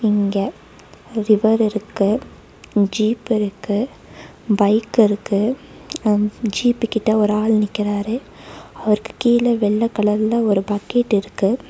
இங்க ஒரு ரிவர் இருக்கு ஜீப் இருக்கு பைக் இருக்கு ஜீப்கிட்ட ஒரு ஆளு நிக்குறாரு அவருக்கு கீழ வெள்ளை கலர்ல ஒரு பக்கெட் இருக்கு.